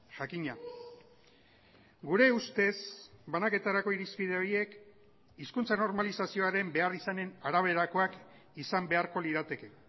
jakina gure ustez banaketarako irizpide horiek hizkuntza normalizazioaren beharrizanen araberakoak izan beharko lirateke